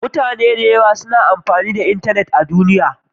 Mutane da yawa suna amfani da intanet a duniya.